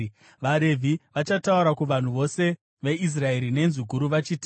VaRevhi vachataura kuvanhu vose veIsraeri nenzwi guru vachiti: